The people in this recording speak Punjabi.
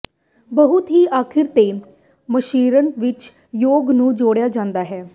ਬਹੁਤ ਹੀ ਅਖੀਰ ਤੇ ਮਿਸ਼ਰਣ ਵਿੱਚ ਯੋਕ ਨੂੰ ਜੋੜਿਆ ਜਾਂਦਾ ਹੈ